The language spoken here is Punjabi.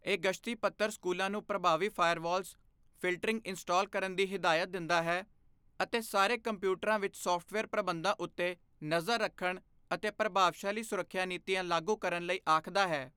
ਇਹ ਗਸ਼ਤੀ ਪੱਤਰ ਸਕੂਲਾਂ ਨੂੰ ਪ੍ਰਭਾਵੀ ਫ਼ਾਇਰਵਾਲਜ਼, ਫ਼ਿਲਟਰਿੰਗ ਇੰਸਟਾਲ ਕਰਨ ਦੀ ਹਦਾਇਤ ਦਿੰਦਾ ਹੈ ਅਤੇ ਸਾਰੇ ਕੰਪਿਊਟਰਾਂ ਵਿੱਚ ਸਾਫ਼ਟਵੇਅਰ ਪ੍ਰਬੰਧਾਂ ਉੱਤੇ ਨਜ਼ਰ ਰੱਖਣ ਅਤੇ ਪ੍ਰਭਾਵਸ਼ਾਲੀ ਸੁਰੱਖਿਆ ਨੀਤੀਆਂ ਲਾਗੂ ਕਰਨ ਲਈ ਆਖਦਾ ਹੈ।